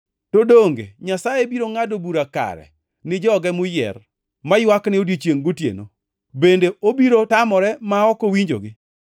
To donge Nyasaye biro ngʼado bura kare ni joge moyier, maywakne odiechiengʼ gi otieno? Bende obiro tamore ma ok owinjogi?